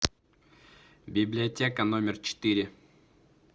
библиотека номер четыре